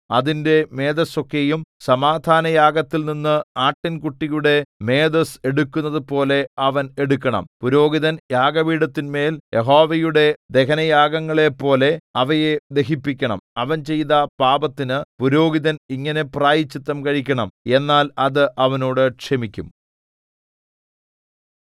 അതിന്റെ മേദസ്സൊക്കെയും സമാധാനയാഗത്തിൽനിന്ന് ആട്ടിൻകുട്ടിയുടെ മേദസ്സ് എടുക്കുന്നതുപോലെ അവൻ എടുക്കണം പുരോഹിതൻ യാഗപീഠത്തിന്മേൽ യഹോവയുടെ ദഹനയാഗങ്ങളെപ്പോലെ അവയെ ദഹിപ്പിക്കണം അവൻ ചെയ്ത പാപത്തിന് പുരോഹിതൻ ഇങ്ങനെ പ്രായശ്ചിത്തം കഴിക്കണം എന്നാൽ അത് അവനോട് ക്ഷമിക്കും